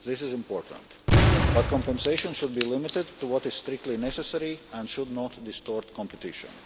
This is important, but compensation should be limited to what is strictly necessary and should not distort competition.